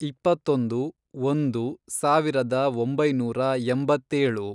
ಇಪ್ಪತ್ತೊಂದು, ಒಂದು, ಸಾವಿರದ ಒಂಬೈನೂರ ಎಂಬತ್ತೇಳು